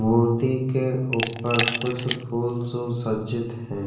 मूर्ति के ऊपर कुछ फूल सुसर्जित हैं।